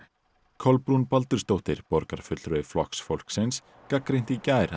Kolbrún Baldursdóttir borgarfulltrúi Flokks fólksins gagnrýndi í gær